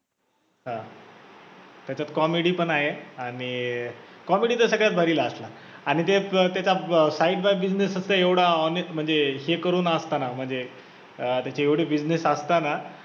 हा त्याच्यात comedy पण आहे आणि अं comedy तर सगळ्यात भारी last ला आणि ते त्याचा side by business फक्त एवढा honest मध्ये हे करून असताना म्हणजे अं त्यांचे एवढी business असताना